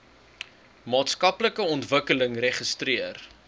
maatskaplike ontwikkeling registreer